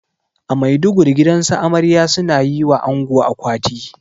A maiduguri gidansu amarya suna yiwa ango akwati